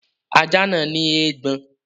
Ajá náà ní eégbọn.